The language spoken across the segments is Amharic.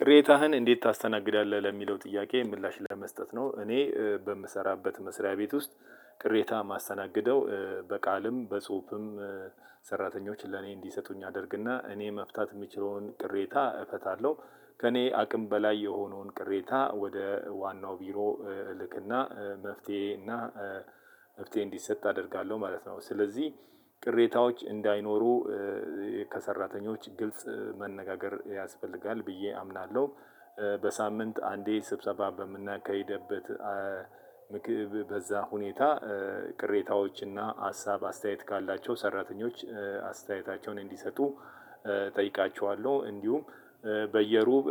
ቅሬታህን እንዴት ታስተናግዳለህ ለሚለው ጥያቄ ምላሽ ለመስጠት ነው? እኔ በምሰራበት መስሪያ ቤት ውስጥ ቅሬታ የማስተናግደው በቃልም በጽሁፍም ሰራተኞች ለኔ እንዲሰጡኝ አደርግና እኔ መፍታት እምችለውን ቅሬታ እፈታለሁ። ከእኔ አቅም በላይ የሆነውን ቅሬታ ወደ ዋናው ቢሮ እልክና መፍትሄ እና መፍትሄ እንዲሰጥ አደርጋለሁ ማለት ነው። ስለዚህ ቅሬታዎች እንዳይኖሩ ከሰራተኞች ግልጽ መነጋገር ያስፈልጋል ብዬ አምናለሁ። በሳምንት አንዴ ስብሰባ በምናካሂድበት ምክብ በዛ ሁኔታ ቅሬታዎችና ሀሳብ አስተያየት ካላቸው ሰራተኞች አስተያየታቸውን እንዲሰጡ እጠይቃቸዋለሁ። እንዲሁም በየሩብ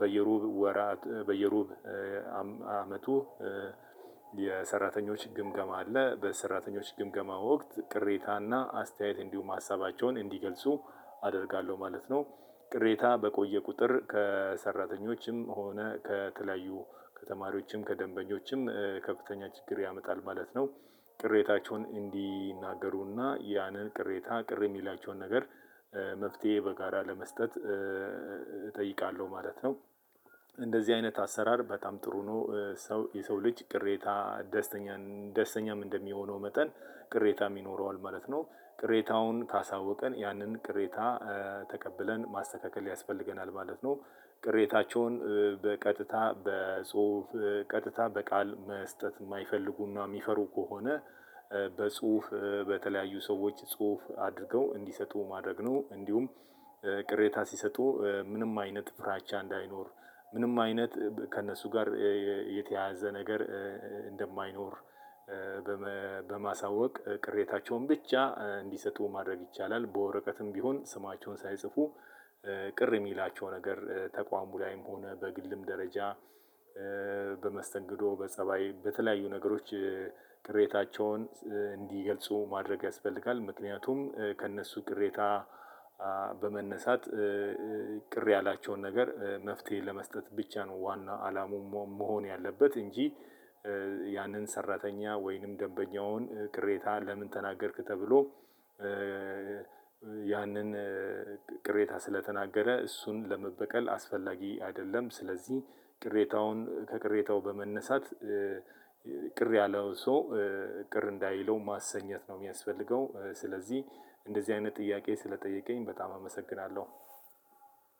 በየሩብ ወራት በየሩብ አመቱ የሰራተኞች ግምገማ አለ በሰራተኞች ግምገማ ወቅት ቅሬታና አስተያየት እንዲሁም ሀሳባቸውን እንዲገልጹ አደርጋለሁ ማለት ነው። ቅሬታ በቆየ ቁጥር ከሰራተኞችም ሆነ ከተለያዩ ከተማሪዎችም ከደንበኞችም ከፍተኛ ችግር ያመጣል ማለት ነው። ቅሬታቸውን እንዲናገሩ እና ያንን ቅሬታ ቅር የሚላቸውን ነገር መፍትሄ በጋራ ለመስጠት እጠይቃለሁ ማለት ነው። እንደዚህ አይነት አሰራር በጣም ጥሩ ነው። ሰው የሰው ልጅ ቅሬታ ደስተኛ ደስተኛም እንደሚሆነው መጠን ቅሬታ ይኖረዋል ማለት ነው። ቅሬታውን ካሳወቀን ያንን ቅሬታ ተቀብለን ማስተካከል ያስፈልገናል ማለት ነው። ቅሬታቸውን በቀጥታ በጽሁፍ ቀጥታ በቃል መስጠት እማይፈልጉና እሚፈሩ ከሆነ በጽሁፍ በተለያዩ ሰዎች ጽሁፍ አድርገው እንዲሰጡ ማድረግ ነው። እንዲሁም ቅሬታ ሲሰጡ ምንም አይነት ፍራቻ እንዳይኖር ምንም አይነት ከእነሱ ጋር የተያያዘ ነገር እንደማይኖር በማሳወቅ ቅሬታቸውን ብቻ እንዲሰጡ ማድረግ ይቻላል። በወረቀትም ቢሆን ስማቸውን ሳይጽፉ ቅር የሚላቸው ነገር ተቋሙ ላይም ሆነ በግልም ደረጃ በመስተንግዶ በጸባይ በተለያዩ ነገሮች ቅሬታቸውን እንዲገልጹ ማድረግ ያስፈልጋል። ምክንያቱም ከእነሱ ቅሬታ በመነሳት ቅር ያላቸውን ነገር መፍትሄ ለመስጠት ብቻ ነው ዋና አላማው መሆን ያለበት እንጂ። ያንን ሰራተኛ ወይንም ደንበኛውን ቅሬታ ለምን ተናገርክ ተብሎ ያንን ቅሬታ ስለተናገረ እሱን ለመበቀል አስፈላጊ አይደለም። ስለዚህ ቅሬታውን ከቅሬታው በመነሳት ቅር ያለውን ሰው ቅር እንዳይለው ማሰኘት ነው እሚያስፈልገው። ስለዚህ እንደዚህ አይነት ጥያቄ ስለጠየቀኝ በጣም አመሰግናለሁ።